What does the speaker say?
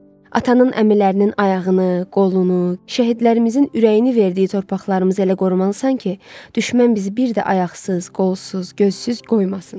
Atanın əmilərinin ayağını, qolunu, şəhidlərimizin ürəyini verdiyi torpaqlarımızı elə qorumalısan ki, düşmən bizi bir də ayaqsız, qolsuz, gözsüz qoymasın.